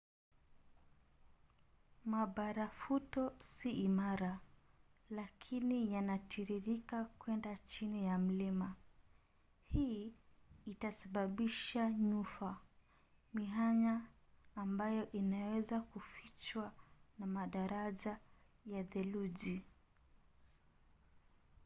mabarafuto si imara lakini yanatiririka kuenda chini ya mlima. hii itasababisha nyufa mianya ambayo inaweza kufichwa na madaraja ya theluji